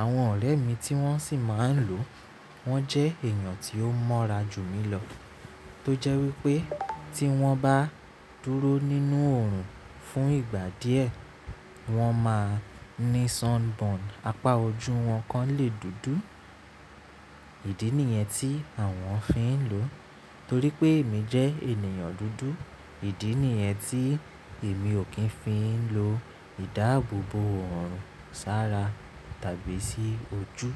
Àwọn ọ̀rẹ́ mi tí wọ́n sì máa ń lo, wọ́n jẹ́ èèyàn tí ó mọ́ra jù mí lọ. Tó jẹ́ wípé tí wọ́n bá dúró nínú òòrùn fún ìgbà díẹ̀, wọ́n máa ní sunburn. Apá ojú wọn kan lè dúdú. Ídí nìyẹn tí àwọn ò fi ń lò ó. Torí pé èmi jẹ́ ènìyàn dúdú. Ídí nìyẹn tí èmi ò kí ń fi ń lo ìdáàbòbò òòrùn sára tàbí sí ojú.